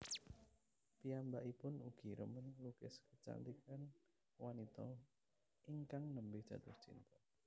Piyambakipun ugi remen nglukis kecantikan wanita ingkang nembe jatuh cinta